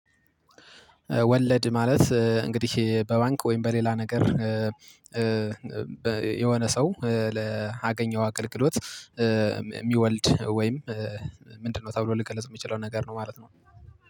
ወለድ ማለት እንግዲህ በባንክ ወይም በሌላ ነገር የሆነ ሰው ለአገኘው አገልግሎት እሚወልድ ወይም ምንድነው ተብሎ ሊገለጽ እምችለው ነገር ነው ማለት ነው።